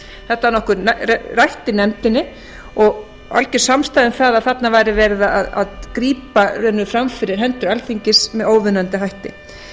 þetta var nokkuð rætt í nefndinni og alger samstaða um að þarna væri verið að grípa í raun og veru fram fyrir hendur alþingis með óviðunandi hætti